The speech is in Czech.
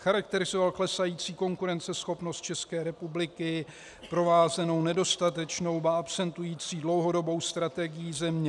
Charakterizoval klesající konkurenceschopnost České republiky, provázenou nedostatečnou, ba absentující dlouhodobou strategií země.